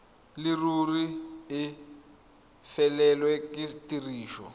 leruri e felelwe ke tiriso